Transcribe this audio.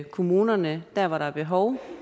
kommunerne dér hvor der er behov